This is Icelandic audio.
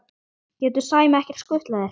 getur Sæmi ekki skutlað þér?